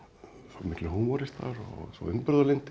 miklir húmoristar og svo umburðarlyndir